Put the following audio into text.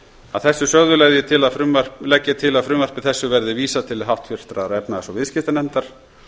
að þessu sögðu legg ég til að frumvarpi þessu verði vísað til háttvirtrar efnahags og viðskiptanefndar